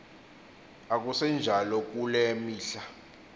akusenjalo kule mihla